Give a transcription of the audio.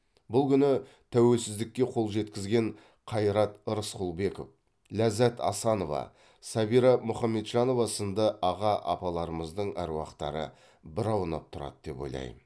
бұл күні тәуелсіздікке қол жеткізген қайрат рысқұлбеков ләззат асанова сәбира мұхамеджанова сынды аға апаларымыздың әруақтары бір аунап тұрады деп ойлайм